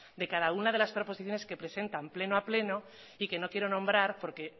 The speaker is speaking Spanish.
de cada una de las proposiciones que presentan pleno a pleno y que no quiero nombrar porque